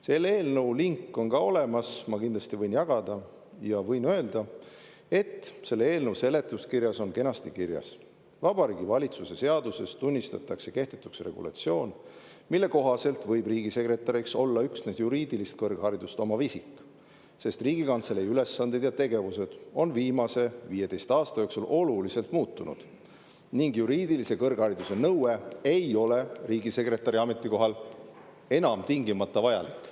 Selle eelnõu link on ka olemas, ma kindlasti võin jagada, ja võin öelda, et selle eelnõu seletuskirjas on kenasti kirjas: "Vabariigi Valitsuse seaduses tunnistatakse lisaks kehtetuks regulatsioon, mille kohaselt võib riigisekretäriks olla üksnes juriidilist kõrgharidust omav isik, sest Riigikantselei ülesanded ja tegevus on viimase 15 aasta jooksul oluliselt muutunud ning juriidilise kõrghariduse nõue ei ole riigisekretäri ametikohal enam tingimata vajalik.